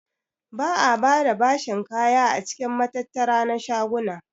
Ba'a bada bashin kaya a cikin matattara na shaguna.